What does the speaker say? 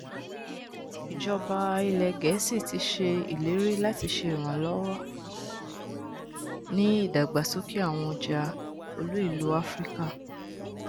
ijọba ilẹ gẹẹsi ti ṣe ileri lati ṣe iranlọwọ ni idagbasoke awọn ọja oluilu afirika